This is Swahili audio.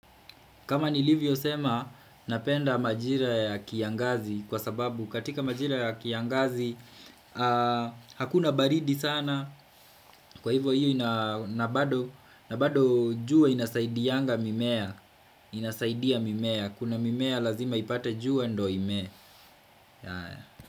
Kama nilivyo sema napenda majira ya kiangazi kwa sababu katika majira ya kiangazi Hakuna baridi sana kwa hivyo na bado jua inasaidianga mimea Kuna mimea lazima ipate jua ndo imee.